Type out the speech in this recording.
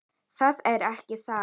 Það er ekki það.